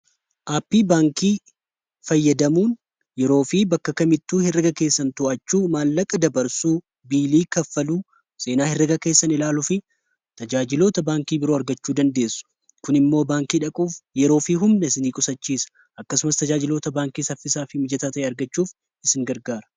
aappii baankii fayyadamuun yeroo fi bakka kamittuu hirreega keessan to'achuu, maallaqa dabarsuu, biilii kaffaluu, seenaa hirreega keessan ilaaluu fi tajaajiloota baankii biroo argachuu dandeessu. kun immoo baankii dhaquuf yeroo fi humna isinii qusachiisa. akkasumas tajaajiloota baankii saffisaa fi mijataa ta'e argachuuf isin gargaara.